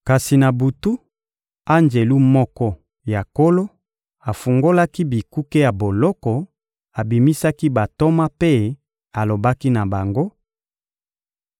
Kasi na butu, anjelu moko ya Nkolo afungolaki bikuke ya boloko, abimisaki bantoma mpe alobaki na bango: